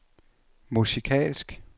musikalsk